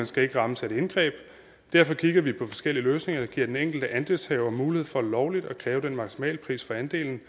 skal rammes af et indgreb derfor kigger vi på forskellige løsninger der giver den enkelte andelshaver mulighed for lovligt at kræve den maksimale pris for andelen